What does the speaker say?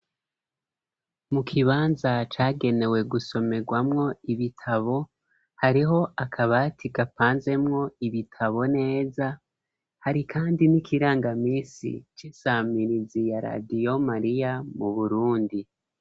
Mu kibanza cagenewe gusomerwamwo ibitabo, hariho akabati gapanzemwo ibitabo neza, hari kandi n'ikirangaminsi c'isamirizi ya radiyo mariya mu Burundi.